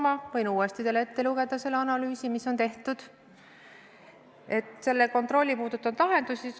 Ma võin uuesti teile ette lugeda selle analüüsi, mis on tehtud.